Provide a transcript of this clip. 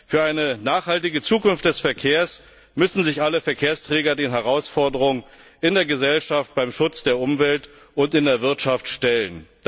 Für eine nachhaltige Zukunft des Verkehrs müssen sich alle Verkehrsträger den Herausforderungen in der Gesellschaft beim Schutz der Umwelt und in der Wirtschaft stellen.